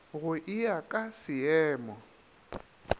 go e ya ka seemo